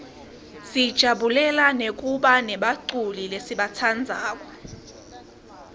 sijabulela nekubana buculi lesibatsandzako